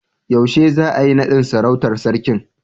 Yaushe za'a yi nadin sarautan sarkin?